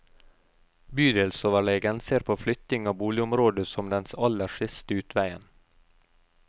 Bydelsoverlegen ser på flytting av boligområdet som den aller siste utveien.